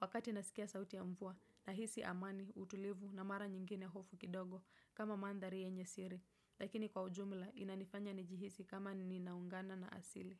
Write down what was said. Wakati nasikia sauti ya mvua, nahisi amani, utulivu na mara nyingine hofu kidogo kama mandhari yenye siri, lakini kwa ujumla inanifanya njihisi kama ninaungana na asili.